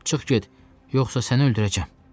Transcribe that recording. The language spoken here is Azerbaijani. Çıx get, yoxsa səni öldürəcəm.